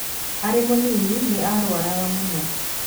Arĩ mũnini nĩ aarũaraga mũno.